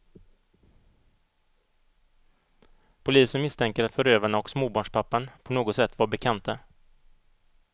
Polisen misstänker att förövarna och småbarnspappan på något sätt var bekanta.